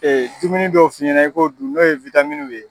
dumuni dɔw f'i ɲɛna i ko dun n'o ye ye.